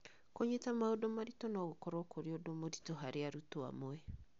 Kũnyita maũndũ maritũ no gũkorũo kũrĩ ũndũ mũritũ harĩ arutwo amwe.